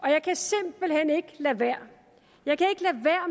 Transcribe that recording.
jeg kan simpelt hen ikke lade være